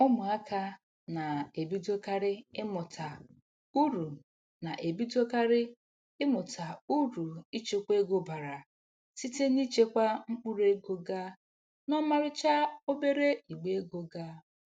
Ụmụaka na-ebidokarị ịmụta uru na-ebidokarị ịmụta uru ichekwa ego bara site n'ichekwa mkpụrụego ga n'ọmarịcha obere igbe ego ga.